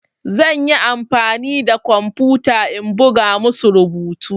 Zan yi amfani da kwamfuta in buga musu rubutu.